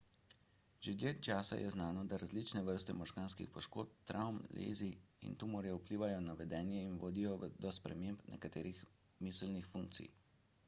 že dlje časa je znano da različne vrste možganskih poškodb travm lezij in tumorjev vplivajo na vedenje in vodijo do sprememb nekaterih miselnih funkcij